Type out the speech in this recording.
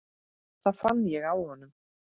Það fann ég á honum.